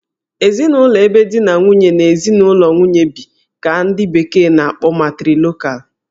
Ezinụlọ ebe di na nwunye na ezinụlọ nwunye bi ka ndị bekee na- akpọ 'Matrilocal'